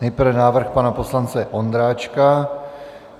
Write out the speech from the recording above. Nejprve návrh pana poslance Ondráčka.